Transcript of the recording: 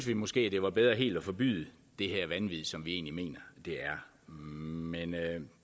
det måske var bedre helt at forbyde det her vanvid som vi egentlig mener det er men